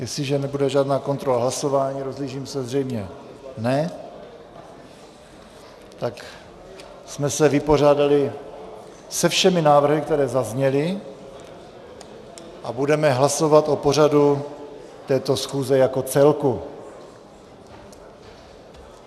Jestliže nebude žádná kontrola hlasování - rozhlížím se, zřejmě ne - tak jsme se vypořádali se všemi návrhy, které zazněly, a budeme hlasovat o pořadu této schůze jako celku.